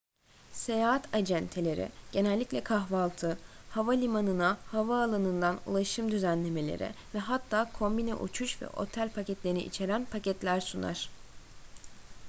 seyahat acenteleri genellikle kahvaltı havalimanına/havaalanından ulaşım düzenlemeleri ve hatta kombine uçuş ve otel paketlerini içeren paketler sunar